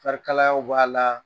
kalayaw b'a la